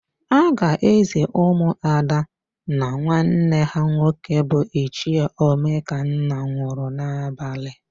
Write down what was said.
A ga-ézì ụmụada na nwanne ha nwoke bụ Ichie Omekanna nwụrụ n'abalị.